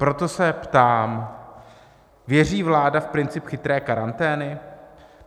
Proto se ptám: Věří vláda v princip chytré karantény?